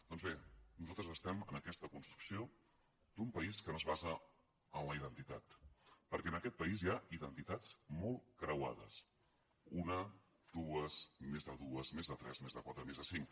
doncs bé nosaltres estem en aquesta construcció d’un país que no es basa en la identitat perquè en aquest país hi ha identitats molt creuades una dues més de dues més de tres més de quatre més de cinc